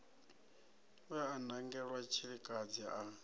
we a nangelwa tshilikadzi a